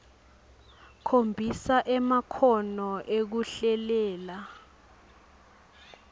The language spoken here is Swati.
khombisa emakhono ekuhlelela